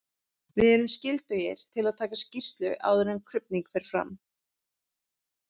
Við erum skyldugir til að taka skýrslu áður en krufning fer fram.